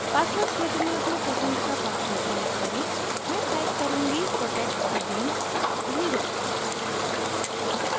password क्षेत्र में अपनी पसंद का password type करें मैं type करुँगी protectagain0